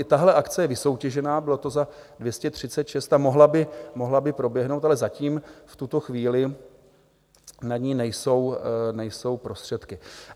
I tahle akce je vysoutěžena, bylo to za 236 a mohla by proběhnout, ale zatím v tuto chvíli na ni nejsou prostředky.